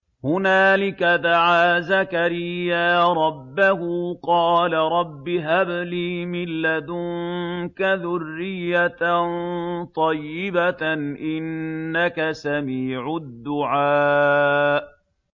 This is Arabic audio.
هُنَالِكَ دَعَا زَكَرِيَّا رَبَّهُ ۖ قَالَ رَبِّ هَبْ لِي مِن لَّدُنكَ ذُرِّيَّةً طَيِّبَةً ۖ إِنَّكَ سَمِيعُ الدُّعَاءِ